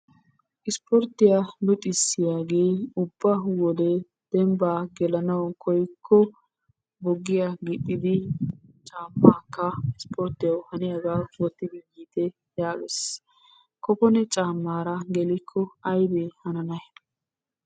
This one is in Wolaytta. Ispporttiyaa luxissiyaagee ubba wodee dembbaa gelananawu koyikko bugiyaa gixidi caammaakka ispporttiyawu haniyaagaa wottidi yiite yaages. Kopone caammaara gelikko aybee hananay?